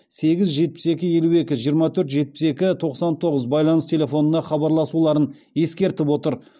сегіз жетпіс екі елу екі жиырма төрт жетпіс екі тоқсан тоғыз байланыс телефонына хабарласуларын ескертіп отыр